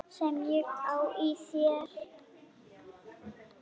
Sem ég á í þér.